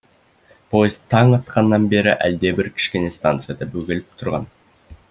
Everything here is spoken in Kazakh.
поезд таң атқаннан бері әлдебір кішкене станцияда бөгеліп тұрған